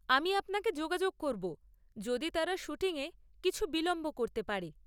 আমি আপনাকে যোগাযোগ করব যদি তারা শ্যুটিং এ কিছু বিলম্ব করতে পারে।